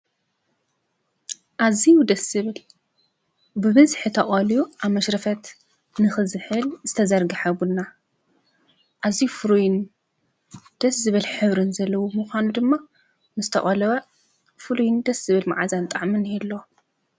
ኣዝዩ ደስ ዝብል ብበዝሒ ተቀልዩ ኣብ መሽረፈት ንክዝሕል ዝተዘርገሐ ቡና። ኣዝዩ ፉሩይን ደስ ዝብል ሕብሪ ዘለዎ ምኳኑ ድማ ምስ ተቀለወ ፉሉይን ደስ ዝብል መዓዛ ጣዕምን ይህልው።